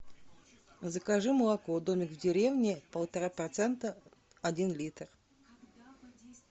закажи молоко домик в деревне полтора процента один литр